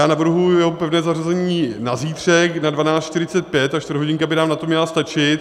Já navrhuji jeho pevné zařazení na zítřek na 12.45, ta čtvrthodinka by nám na to měla stačit.